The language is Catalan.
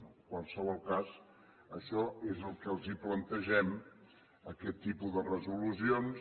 en qualsevol cas això és el que els plantegem aquest tipus de resolucions